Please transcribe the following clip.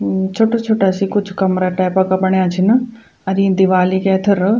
म-छोटा छोटा सी कुछ कमरा टाइपा का बणया छीन अर ईं दीवाली का ऐथर --